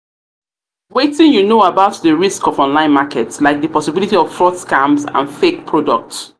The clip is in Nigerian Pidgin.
you know about di risk of online markets like di possibility of fraud scams and fake products?